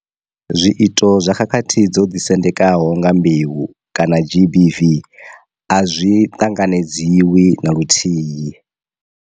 Zwi ito zwa khakhathi dzo ḓisendekaho nga mbeu kana GBV a zwi ṱanganedzwi na luthihi.